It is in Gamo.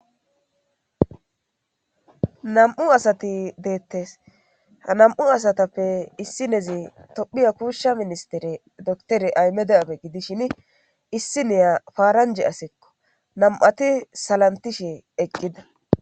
nam;u asati deettes ha nam'u asatappe issi nezi tophiya kuushsha ministere dotere ayme de'abe gidishin issi neya paaranje asekko nam'ati salantishe eqqida